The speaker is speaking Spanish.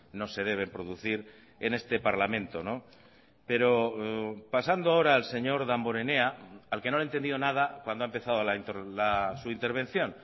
no se deben producir en este parlamento pero pasando ahora al señor damborenea al que no le he entendido nada cuando ha empezado su intervención